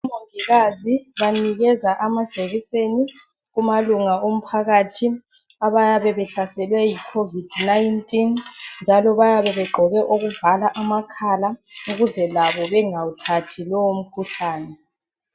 Omongikazi banikeza amajekiseni kumalunga omphakathi abayabe behlaselwe yicovid 19 njalo bayabe begqoke okuvala amakhala ukuze labo bengawuthathi lowo mkhuhlane.